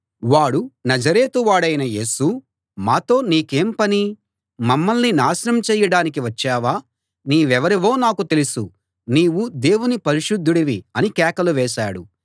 వాడు నజరేతువాడవైన యేసూ మాతో నీకేం పని మమ్మల్ని నాశనం చెయ్యడానికి వచ్చావా నీవెవరివో నాకు తెలుసు నీవు దేవుని పరిశుద్ధుడివి అని కేకలు వేశాడు